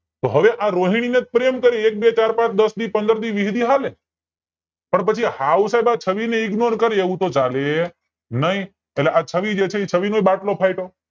હવે આ રોહિણી ને જ પ્રેમ કરે એક બે ચાર પાંચ દસદી પંદરદી વિહદી હાલે પણ સાયબ હવે પછી આ છવ્વી ને IGNORE કરે એવું હાલે નય એટલે આ છવ્વી જે છે એ છવ્વી નોય બાટલો ફાટ્યો